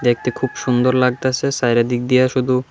দেখতে খুব সুন্দর লাগতেসে চাইরেদিক দিয়া শুধু--